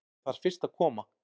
Ég þarf fyrst að koma